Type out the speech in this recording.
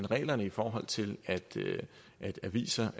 reglerne i forhold til at aviser